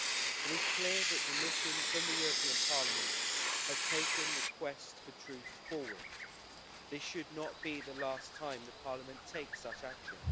It is clear that the mission from the European Parliament has taken the quest for truth forward. This should not be the last time the Parliament take such action.